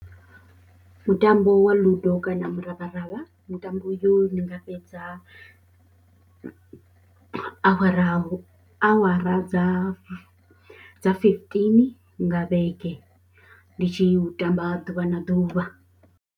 Mutambo wa ludo kana muravharavha, mutambo uyu ndi nga fhedza awara, awara dza dza fifteen nga vhege ndi tshi u tamba ḓuvha na ḓuvha.